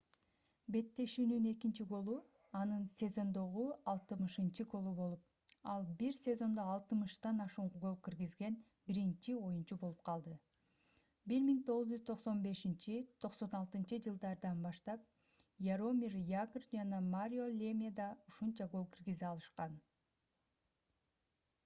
беттешүүнүн экинчи голу — анын сезондогу 60-голу болуп ал бир сезондо 60 ашуун гол киргизген биринчи оюнчу болуп калды. 1995-96-жж. баштап яромир ягр жана марио лемье да ушунча гол киргизе алышкан